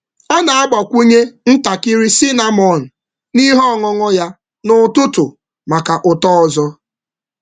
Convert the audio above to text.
Ọ na-agbakwụnye ntakịrị cinnamon n’ihe ọṅụṅụ ya um n’ụtụtụ um maka ụtọ ọzọ. um